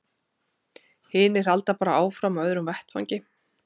Hinir halda bara áfram á öðrum vettvangi.